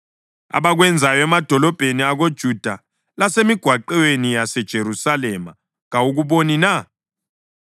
Abakwenzayo emadolobheni akoJuda lasemigwaqweni yaseJerusalema kawukuboni na?